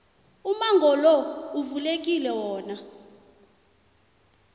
umango lo uvulekile wona